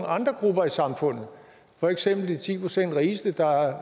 andre grupper i samfundet for eksempel de ti procent rigeste der